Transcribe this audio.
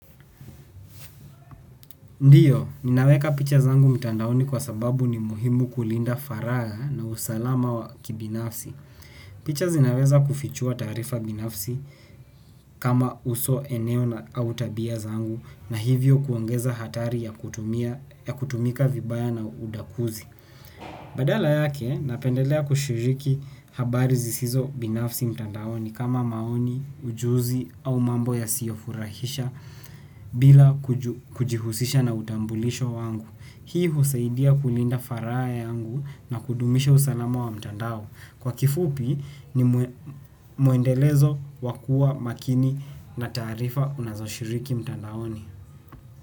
Ndiyo, ninaweka picha zangu mtandaoni kwa sababu ni muhimu kulinda faraha na usalama wa kibinafsi. Picha zinaweza kufichua tarifa binafsi. Kama uso, eneo na tabia zangu, na hivyo kuongeza hatari ya kutumika vibaya na udukuzi. Badala yake napendelea kushiriki habari zisizo binafsi mtandaoni kama maoni, ujuzi au mambo yasiyofurahisha bila kujihusisha na utambulisho wangu. Hii husaidia kulinda faraha yangu na kudumisha usalama wa mtandao. Kwa kifupi ni mwendelezo wakuwa makini na taarifa unazoshiriki mtandaoni.